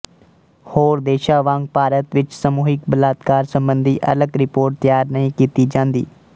ਹੋਰ ਦੇਸ਼ਾਂ ਵਾਂਗ ਭਾਰਤ ਵਿੱਚ ਸਮੂਹਿਕ ਬਲਾਤਕਾਰ ਸਬੰਧੀ ਅਲੱਗ ਰਿਪਰੋਟ ਤਿਆਰ ਨਹੀਂ ਕੀਤੀ ਜਾਂਦੀ